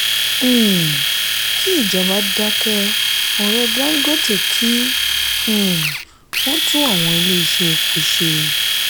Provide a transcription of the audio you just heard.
um kí ìjọba dákẹ́ ọ̀rọ̀ dangote kí um wón tún àwọn ilé iṣẹ́ epo ṣe.